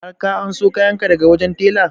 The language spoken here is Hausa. Har ka anso kayan ka daga wajen tela?